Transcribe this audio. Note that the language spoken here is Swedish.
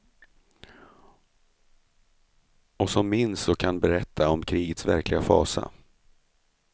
Och som minns och kan berätta om krigets verkliga fasa.